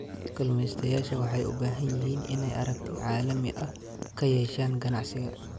Kalumestayasha waxay u baahan yihiin inay aragti caalami ah ka yeeshaan ganacsiga.